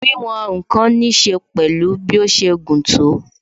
Wíwòn ǹkan ní ṣe pẹ̀lú bí ó ṣe gùn tó